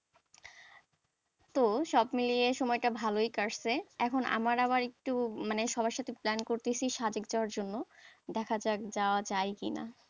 তো সব মিলিয়ে সময়টা ভালোই কাটছে এখন আমার আবার একটু মানে সবার সাথে plan করতেছি যাওয়ার জন্য দেখা যাক যাওয়া যায় কিনা,